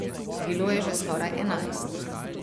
Bilo je že skoraj enajst.